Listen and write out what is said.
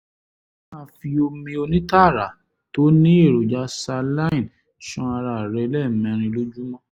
máa fi omi onítara tó ní èròjà saline ṣan ara rẹ lẹ́ẹ̀mẹrin lójúmọ́